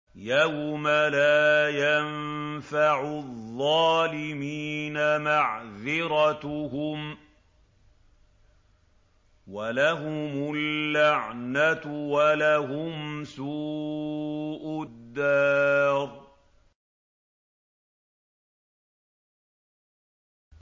يَوْمَ لَا يَنفَعُ الظَّالِمِينَ مَعْذِرَتُهُمْ ۖ وَلَهُمُ اللَّعْنَةُ وَلَهُمْ سُوءُ الدَّارِ